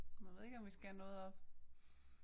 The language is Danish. Men jeg ved ikke om vi skal have noget op